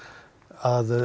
að